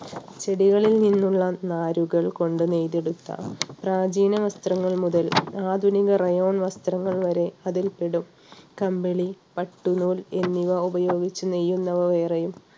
ചെടികളിൽ നിന്നുള്ള നാരുകൾ കൊണ്ട് നെയ്തെടുത്ത പ്രാചീന വസ്ത്രങ്ങൾ മുതൽ ആധുനിക rayon വസ്ത്രങ്ങൾ വരെ അതിൽ പെടും. കമ്പിളി, പട്ടുനൂൽ എന്നിവ ഉപയോഗിച്ച് നെയ്യുന്നവ വേറെയും